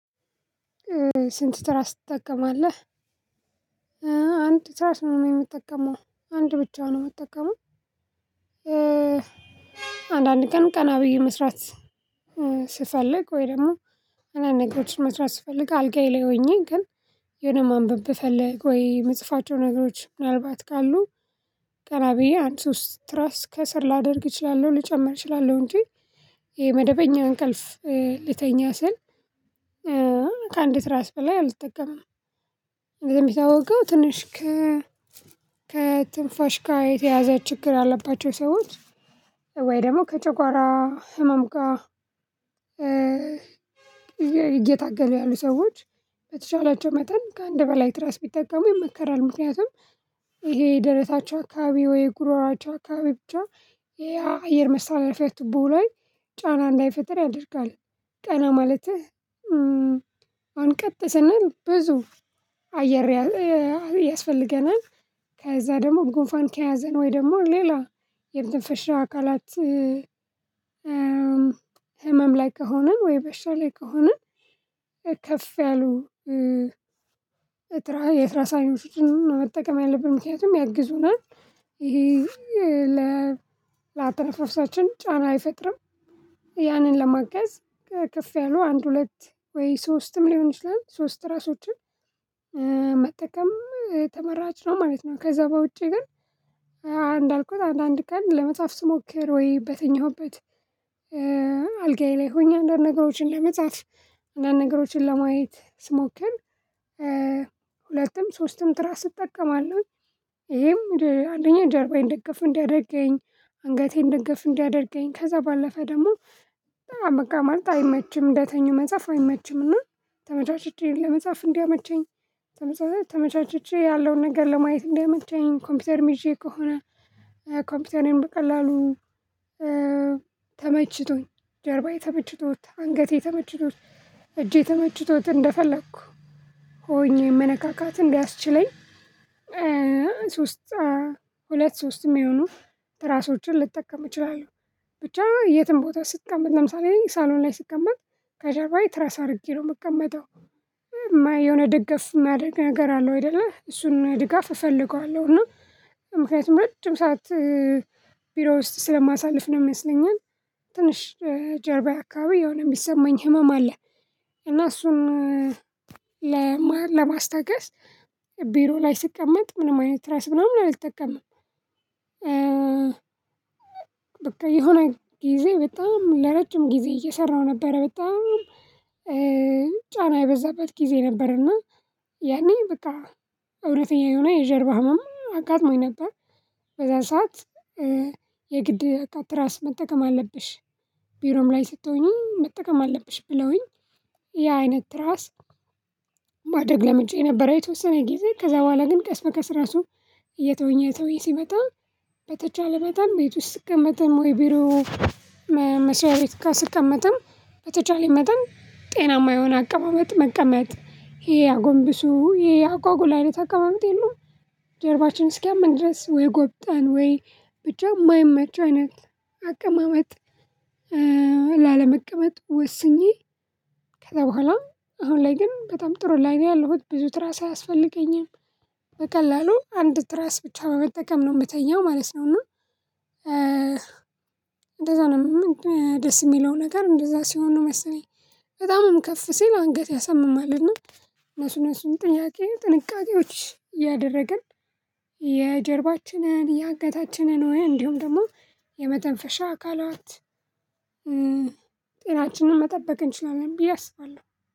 ስንት ትራስ ትጠቀማለህ አንድ ትራስ ነው የምትጠቀመው አንድ ብቻውን ነው የምትጠቀመው አንዳንድ ቀን ቀና ብዬ መስራት ስፈልግ ወይ ደግሞ አንዳንድ ነገሮችን መስራት ስፈልግ አልጋዬ ላይ ሆኜ ግን የሆነ ማንበብ ብፈልግ ወይ የምጽፋቸው ነገሮች ምናልባት ካሉ ቀና ብዬ አንድ ውስጥ ትራስ ከስር ላደርግ እችላለሁ ልጨምር እችላለሁ እንጂ የመደበኛ እንቅልፍ ሊተኛ ስል ከአንዲት ራስ በላይ አልጠቀምም እንግዲህ የምታወገው ትንሽ ከትንፋሽ ጋር የተያዘ ችግር አለባቸው ሰዎች ወይ ደግሞ ከጨጓራ ህመም ጋር እየታገሉ ያሉ ሰዎች በተቻላቸው መጠን ከአንድ በላይ ትራስ ቢጠቀሙ የመከራል ምክንያቱም ይሄ የደረታቸው አካባቢ ወይ ጉሮሮቻቸው አካባቢ ብቻ የአየር መሳለፊያ ቱቦ ላይ ጫና እንዳይፈጥር ያደርጋል ቀና ማለትህ አንቀጥስና ብዙ አየር ያስፈልገናል ከዛ ደግሞ ጉንፋን ከያዘን ወይ ደግሞ ሌላ የመተንፈሻ አካላት ህመም ላይ ከሆንን ወይ በሻ ላይ ከሆነን ከፍ ያሉ የትራስ ሳይሆን መጠቀም ያለብን ምክንያቱም ያግዙናል ይሄ ለአተነፋፍሳችን ጫና አይፈጥርም ያንን ለማገዝ ከፍ ያሉ አንድ ሁለት ወይ ሶስትም ሊሆን ይችላል ሶስት ትራሶችን መጠቀም የተመራጭ ነው ማለት ነው ከዛ በውጪ ግን አንዳንድ ቀን ለመጽሐፍ ስሞክር ወይ በተኛሁበት አልጋዬ ላይ ሆኜ አንዳንድ ነገሮችን ለመጻፍ አንዳንድ ነገሮችን ለማየት ስሞክር ሁለቱም ሶስቱም ጥራት ስጠቀማለሁ ይሄም አለኝ ጀርባዬን ደገፍ እንዲያደርገኝ አንገቴን ደገፍ እንዲያደርገኝ ከዛ ባለፈ ደግሞ በጣም በቃ ማለት አይመችም እንደተኙ መጽሐፍ አይመችም እና ተመቻችቼን ለመጻፍ እንዲያመቸኝ ተመቻችቼ ያለውን ነገር ለማየት እንዲያመቸኝ ኮምፒውተር ይዤ ከሆነ ኮምፒውተርን በቀላሉ ተመችቶኝ ጀርባዬ ተመችቶ፤ አንገቴ ተመችቶት፤ እጄ ተመችቶት እንደፈለኩ ሆኜ መነካካት እንዳያስችለኝ ሶስት ሁለት ሶስትም ይሁኑ ራሶችን ልጠቀም እችላለሁ ብቻ የትም ቦታ ስትቀመጥ ለምሳሌ ሳሎን ላይ ስትቀመጥ ከጀርባ ትራስ አድርጌ ነው የምቀመጠው። የሆነ ድጋፍ ማድረግ ነገር አለው አይደለ እሱን ድጋፍ እፈልገዋለሁ እና ምክንያቱም ረጅም ሰዓት ቢሮ ውስጥ ስለማሳልፍ ነው ይመስለኛል ትንሽ ጀርባዬ አካባቢ የሆነ የሚሰማኝ ህመም አለ እና እሱን ለማስታገስ ቢሮ ላይ ስቀመጥ ምንም አይነት ትራስ ምናምን አልጠቀምም በቃ የሆነ ጊዜ በጣም ለረጅም ጊዜ እየሰራሁ ነበረ በጣም ጫና የበዛበት ጊዜ ነበር እና ያኔ በቃ እውነተኛ የሆነ የጀርባ ህመም አጋጥሞኝ ነበር በዛን ሰዓት የግድ እቃ ትራስ መጠቀም አለብሽ ቢሮም ላይ ስትሆኚ መጠቀም አለብሽ ብለውኝ ያ አይነት ትራስ ማደረግ ለምጄ የነበረ የተወሰነ ጊዜ ከዛ በኋላ ግን ቀስ በቀስ ራሱ እየተወኝ እየተወኝ ሲመጣ በተቻለ መጠን ቤት ውስጥ ስትቀመጥ ወይ ቢሮ መስዋዕት ቤት ካስቀመጥን በተቻለ መጠን ጤናማ የሆነ አቀማመጥ መቀመጥ ይሄ አጎንብሱ ይሄ አጓጉል አይነት አቀማመጥ የለውም ጀርባችን እስኪያመን ድረስ ወይ ጎብጠን ወይ ብቻ የማይመች አይነት አቀማመጥ ላለመቀመጥ ወስኜ ከዛ በኋላ አሁን ላይ ግን በጣም ጥሩ ላይ ነው ያለሁት ብዙ ትራስ አያስፈልገኝም በቀላሉ አንድ ትራስ ብቻ በመጠቀም ነው የምትተኛው ማለት ነው እና እንደዛ ነው ምንድነው ደስ የሚለው ነገር እንደዛ ሲሆን ነው መሰለኝ። በጣምም ከፍ ሲል አንገት ያሰምማልና እነሱ እነሱን ጥያቄ ጥንቃቄዎች እያደረግን የጀርባችንን የአንገታችንን ነው እንዲሁም ደግሞ የመተንፈሻ አካላት ጤናችንን መጠበቅ እንችላለን ብዬ አስባለሁ።